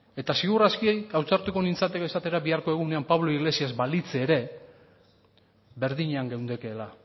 eta seguru aski ausartuko nintzateke esatera biharko egunean pablo iglesias balitz ere berdinean geundekeela